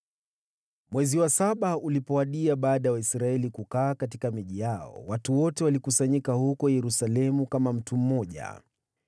Mwezi wa saba ulipowadia baada ya Waisraeli kukaa katika miji yao, watu wote walikusanyika huko Yerusalemu kama mtu mmoja.